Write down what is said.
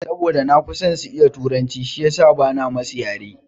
Saboda na fi son su iya turanci shiyasa bana musu yare na.